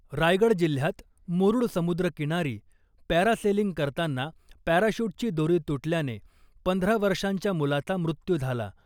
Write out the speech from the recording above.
रायगड जिल्ह्यात मुरुड समुद्रकिनारी पॅरासेलिंग करताना पॅराशूटची दोरी तुटल्याने पंधरा वर्षांच्या मुलाचा मृत्यू झाला .